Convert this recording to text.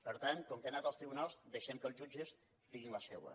per tant com que ha anat als tribunals deixem que els jutges diguin la seua